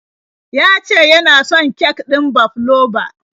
Ya ce ya na son kek ɗin fabloba.